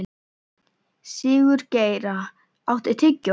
Sigurgeira, áttu tyggjó?